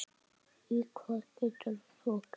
Og hvað geturðu svo gert?